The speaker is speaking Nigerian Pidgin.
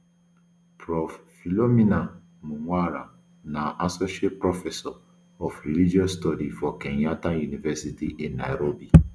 prof philomena mwaura na associate professor of religious studies for kenyatta university in nairobi